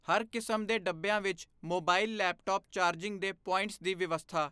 ਹਰ ਕਿਸਮ ਦੇ ਡੱਬਿਆਂ ਵਿੱਚ ਮੋਬਾਈਲ ਲੈਪਟੌਪ ਚਾਰਜਿੰਗ ਦੇ ਪੁਆੰਟਿਸ ਦੀ ਵਿਵਸਥਾ।